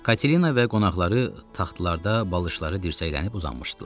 Katelina və qonaqları taxtlarda, balışları dirsəklənib uzanmışdılar.